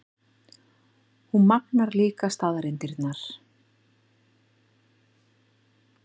Hún magnar líka staðreyndirnar.